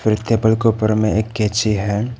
और ये टेबल के ऊपर में एक कैची है।